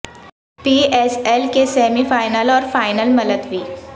پی S L کے semifinals اور final ملتوی